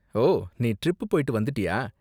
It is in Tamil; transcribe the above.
ஓ, நீ ட்ரிப் போய்ட்டு வந்துட்டியா?